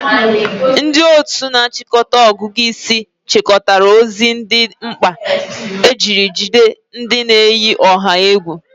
Ndị otu na-achịkọta ọgụgụ isi chịkọtara ozi dị mkpa ejiri jide ndị na-eyi ọha egwu.